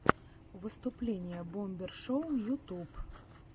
выступление бомбер шоу ютьюб